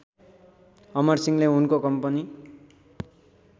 अमरसिंहले उनको कम्पनी